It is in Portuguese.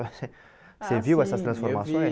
Você Você viu essas transformações? Ah sim eu vi